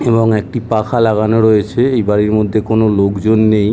এবং একটি পাখা লাগানো রয়েছে। এই বাড়ির মধ্যে কোনো লোকজন নেই।